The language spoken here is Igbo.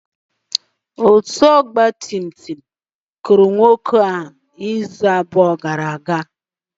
Otu ọgba tum tum kụrụ nwoke a izu abụọ gara aga.